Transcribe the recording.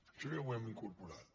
això ja ho hem incorporat